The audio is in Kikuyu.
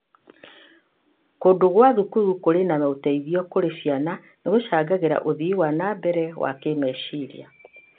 Kũndũ gwa thukuru kũrĩ na ũteithio kũrĩ ciana nĩ gũcangagĩra ũthii wa na mbere wa kĩmeciria.